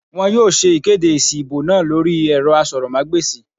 Wọn yóò ṣe ìkéde èsì ìbò náà lórí ẹ̀rọ asọ̀rọ̀mágbèsì